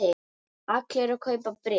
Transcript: Allir að kaupa bréf